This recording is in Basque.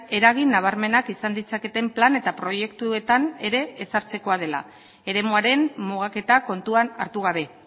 eragin nabarmenak izan ditzaketen plan eta proiektuetan ere ezartzekoa dela eremuaren mugaketa kontuan hartu gabe